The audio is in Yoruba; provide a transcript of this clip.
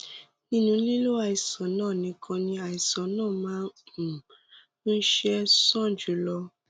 nínú lílo àìsàn náà nìkan ni àìsàn náà máa um ń ṣe é sàn jù lọ